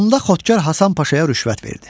Onda Xodkar Hasan Paşaya rüşvət verdi.